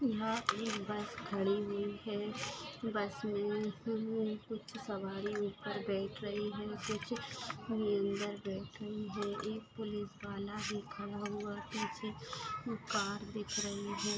यहा एक बस खड़ी हुई है बस मे कुछ सवारी उपर बैठ रही है कुछ बैठ रहे है एक पुलिस वाला भी खड़ा हुआ पीछे एक कार दिख रही है।